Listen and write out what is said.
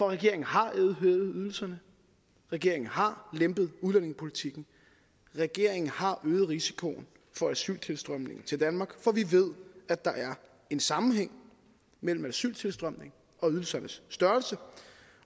regeringen har hævet ydelserne regeringen har lempet udlændingepolitikken regeringen har øget risikoen for asyltilstrømningen til danmark for vi ved at der er en sammenhæng mellem asyltilstrømningen og ydelsernes størrelse